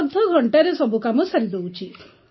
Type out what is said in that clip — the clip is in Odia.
ଅଧଘଣ୍ଟାରେ ସବୁ କାମ ସାରି ଦେଉଛି